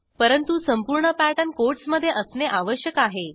परंतु संपूर्ण पॅटर्न quotesमधे असणे आवश्यक आहे